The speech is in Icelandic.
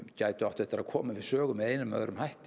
gætu átt eftir að koma við sögu með einum eða öðrum hætti